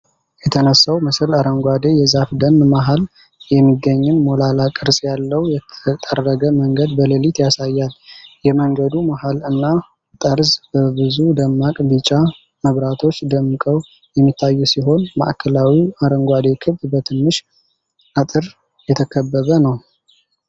የተነሳው ምስል አረንጓዴ የዛፍ ደን መሃል የሚገኝን ሞላላ ቅርጽ ያለው የተጠረገ መንገድ በሌሊት ያሳያል። የመንገዱ መሃል እና ጠርዝ በብዙ ደማቅ ቢጫ መብራቶች ደምቀው የሚታዩ ሲሆን፣ ማዕከላዊው አረንጓዴ ክብ በትንሽ አጥር የተከበበ ነው።